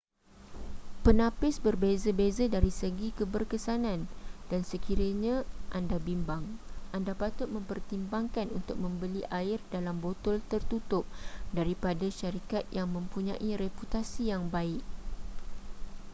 penapis berbeza-beza dari segi keberkesanan dan sekiranya anda bimbang anda patut mempertimbangkan untuk membeli air dalam botol tertutup daripada syarikat yang mempunyai reputasi yang baik